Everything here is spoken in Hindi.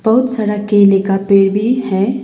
बहुत सारा केले का पेड़ भी है।